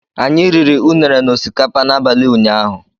Anyị riri Unere na osikapa n'abalị ụnyaahụ